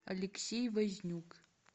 алексей вознюк